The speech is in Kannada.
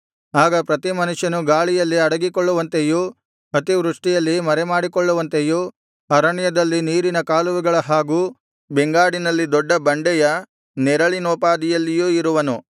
ಆಗ ಪ್ರತಿ ಮನುಷ್ಯನು ಗಾಳಿಯಲ್ಲಿ ಅಡಗಿಕೊಳ್ಳುವಂತೆಯೂ ಅತಿವೃಷ್ಟಿಯಲ್ಲಿ ಮರೆಮಾಡಿಕೊಳ್ಳುವಂತೆಯೂ ಅರಣ್ಯದಲ್ಲಿನ ನೀರಿನ ಕಾಲುವೆಗಳ ಹಾಗೂ ಬೆಂಗಾಡಿನಲ್ಲಿ ದೊಡ್ಡ ಬಂಡೆಯ ನೆರಳಿನೋಪಾದಿಯಲ್ಲಿಯೂ ಇರುವನು